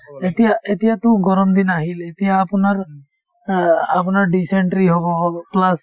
এতিয়া এতিয়াতো গৰম দিন আহিল এতিয়া আপোনাৰ অ আপোনাৰ dysentery হব হব plus